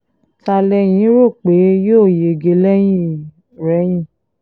ta lẹ́yìn rò pé yóò yege lẹ́yìn-ọ̀-rẹyìn